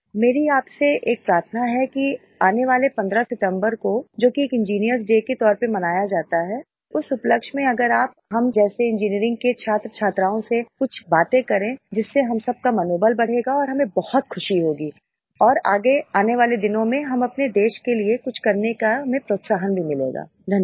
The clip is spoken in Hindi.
मेरी आपसे एक प्रार्थना है कि आने वाले 15 सितम्बर को जो कि एक इंजिनियर्स Dayके तौर पर मनाया जाता है उस उपलक्ष्य में अगर आप हम जैसे इंजीनियरिंग के छात्रछात्राओं से कुछ बातें करें जिससे हम सबका मनोबल बढ़ेगा और हमें बहुत खुशी होगी और आगे आने वाले दिनों में हम अपने देश के लिए कुछ करने का हमें प्रोत्साहन भी मिलेगा धन्यवाद